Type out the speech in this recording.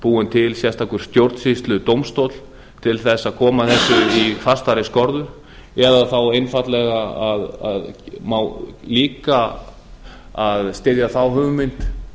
búinn til sérstakur stjórnsýsludómstóll til að koma þessu í fastari skorður eða þá einfaldlega það má líka styðja þá hugmynd